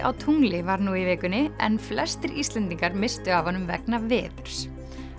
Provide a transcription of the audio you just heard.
á tungli var nú í vikunni en flestir Íslendingar misstu af honum vegna veðurs